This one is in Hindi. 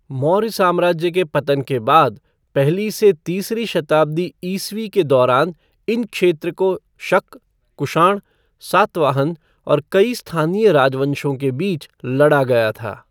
मौर्य साम्राज्य के पतन के बाद, पहली से तीसरी शताब्दी ईस्वी के दौरान इन क्षेत्र को शक, कुषाण, सातवाहन और कई स्थानीय राजवंशों के बीच लड़ा गया था।